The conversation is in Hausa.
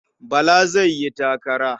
Bala zai yi takara.